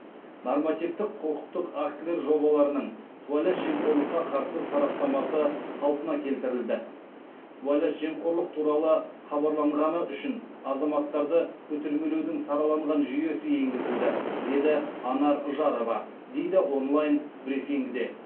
нормативтік құқықтық актілер жобаларының сыбайлас жемқорлыққа қарсы сараптамасы қалпына келтірілді сыбайлас жемқорлық туралы хабарланғаны үшін азаматтарды көтермелеудің сараланған жүйесі енгізілді деді анар жарова дейді онлайн брифингіде